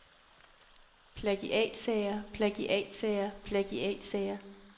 plagiatsager plagiatsager plagiatsager